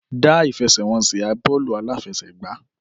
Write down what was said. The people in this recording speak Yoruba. Dá ìfẹsẹ̀wọnsẹ̀ bọ́ọ̀lù aláfẹsẹ̀gbá